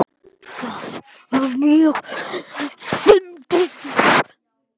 Það var mjög fyndið.